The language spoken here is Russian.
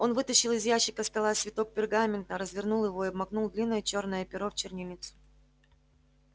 он вытащил из ящика стола свиток пергамента развернул его и обмакнул длинное чёрное перо в чернильницу